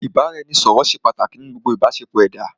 Ìbáraẹnisọ̀rọ̀ ṣé pàtàkì nínú gbogbo ìbáṣepọ̀ ẹ̀dá.